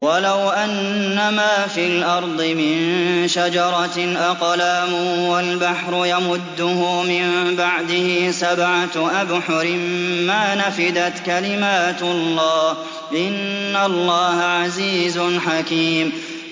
وَلَوْ أَنَّمَا فِي الْأَرْضِ مِن شَجَرَةٍ أَقْلَامٌ وَالْبَحْرُ يَمُدُّهُ مِن بَعْدِهِ سَبْعَةُ أَبْحُرٍ مَّا نَفِدَتْ كَلِمَاتُ اللَّهِ ۗ إِنَّ اللَّهَ عَزِيزٌ حَكِيمٌ